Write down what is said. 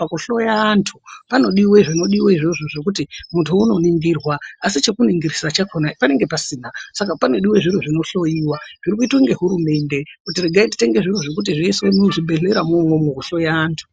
pakuhloya andu panodiwa zvinodiwa izvozvo zvekuti mundu unoningirwa asi chekuningirisa chakona panenge pasina saka panodiwe zviro zvinohloyiwa zviri kuita ngehurumende kuti atitenge zvese zviro izvozvo zvekuhloya andu.